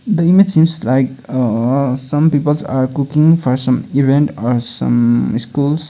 the image seems like ahh some peoples are cooking for some event or some schools.